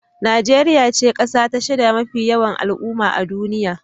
Najeriya ce kasa ta shida mafi yawan al'umma a duniya.